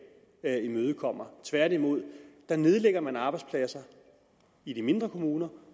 imødekommer tværtimod nedlægger man arbejdspladser i de mindre kommuner